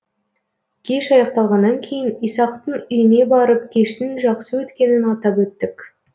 кеш аяқталғаннан кейін исақтың үйіне барып кештің жақсы өткенін атап өттік